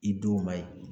I denw ma ye